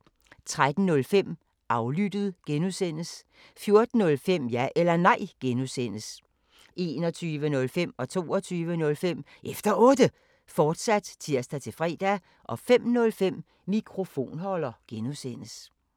13:05: Aflyttet G) 14:05: Ja eller Nej (G) 21:05: Efter Otte, fortsat (tir-fre) 22:05: Efter Otte, fortsat (tir-fre) 05:05: Mikrofonholder (G)